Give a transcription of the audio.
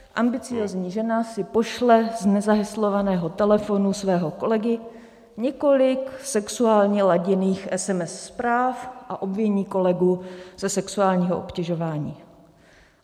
Ambiciózní žena si pošle z nezaheslovaného telefonu svého kolegy několik sexuálně laděných SMS zpráv a obviní kolegu ze sexuálního obtěžování.